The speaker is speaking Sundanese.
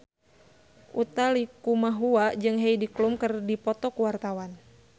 Utha Likumahua jeung Heidi Klum keur dipoto ku wartawan